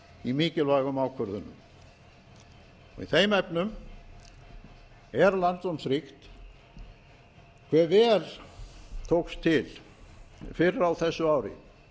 í mikilvægum ákvörðunum í þeim efnum er lærdómsríkt hve vel tókst til fyrr á þessu ári